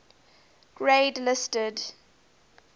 grade listed